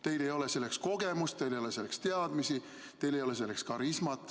Teil ei ole selleks kogemust, teil ei ole selleks teadmisi, teil ei ole selleks karismat.